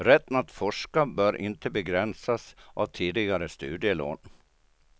Rätten att forska bör inte begränsas av tidigare studielån.